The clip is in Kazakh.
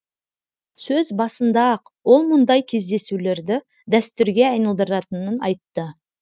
сөз басында ақ ол мұндай кездесулерді дәстүрге айналдыратынын айтты